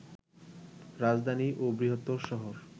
রাজধানী ও বৃহত্তম শহর